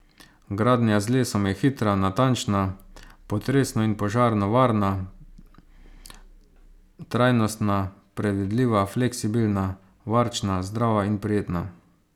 Gradnja z lesom je hitra, natančna, potresno in požarno varna, trajnostna, predvidljiva, fleksibilna, varčna, zdrava in prijetna!